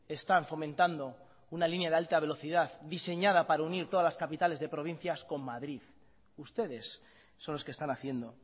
están fomentando una línea de alta velocidad diseñada para unir todas las capitales de provincias con madrid ustedes son los que están haciendo